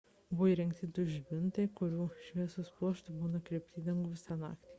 buvo įrengti du žibintai kurių šviesos pluoštai buvo nukreipti į dangų visą naktį